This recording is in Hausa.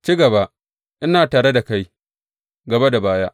Ci gaba, ina tare da kai gaba da baya.